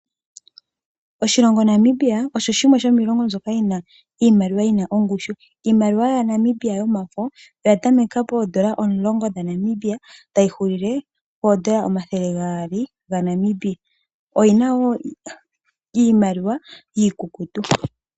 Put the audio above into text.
Oshilongo Namibia, osho shimwe shomiilongo mbyoka yi na iimaliwa yi na ongushu. Iimaliwa ya Namibia yomafo, oya tameka poondola omulongo dha Namibia, tayi huulile poondola omathele gaali gaNamibia. Oshi na wo iimaliwa iikukutu.